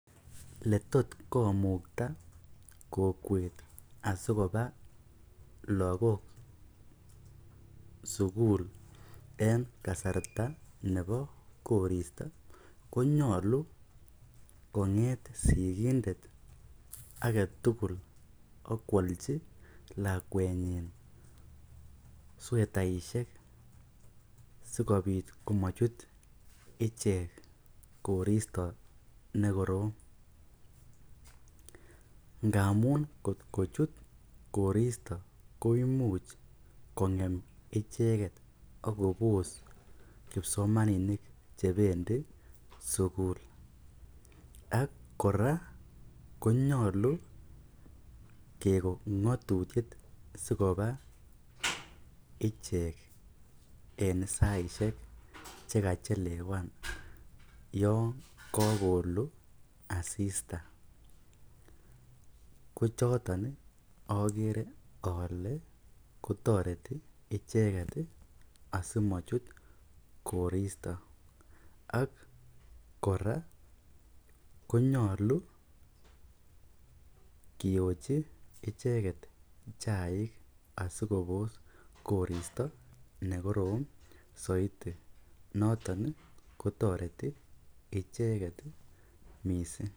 Letot komukta kokwet asikoba lakok sukul eng kasarta nebo koristo konyolu konget sikindet ake tukul pokwolchi lakwetnyi swetaishek ichek koristo nekorom ngamun kotkochut koristo koimuch kongem icheket akopos kipsomaninik chebendi sukul ak kora konyolu kekon ngatutik sikoba ichek en saishek chekachelewan yon kakolu asista kochoton agere ale kotoreti icheket asimachut koristo ak kora konyolu kiyochi icheket chaik asikopos koristo nekorom soiti noton kotoreti ichek mising.